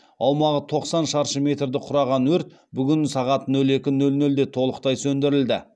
аумағы тоқсан шаршы метрді құраған өрт бүгін сағат нөл екі нөл нөлде толықтай сөндірілді